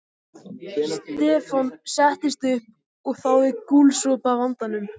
Stefán settist upp og þáði gúlsopa af landanum.